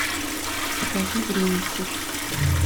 покажи временщик